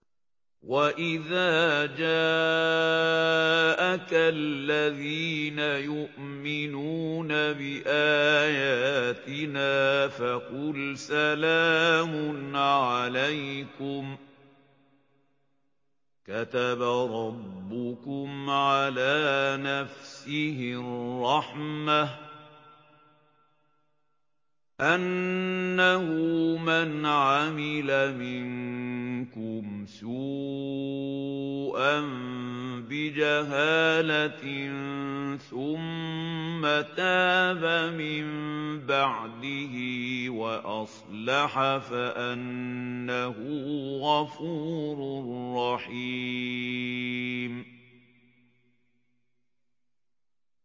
وَإِذَا جَاءَكَ الَّذِينَ يُؤْمِنُونَ بِآيَاتِنَا فَقُلْ سَلَامٌ عَلَيْكُمْ ۖ كَتَبَ رَبُّكُمْ عَلَىٰ نَفْسِهِ الرَّحْمَةَ ۖ أَنَّهُ مَنْ عَمِلَ مِنكُمْ سُوءًا بِجَهَالَةٍ ثُمَّ تَابَ مِن بَعْدِهِ وَأَصْلَحَ فَأَنَّهُ غَفُورٌ رَّحِيمٌ